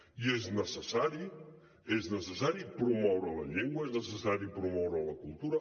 i és necessari és necessari promoure la llengua és necessari promoure la cultura